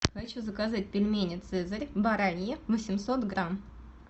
хочу заказать пельмени цезарь бараньи восемьсот грамм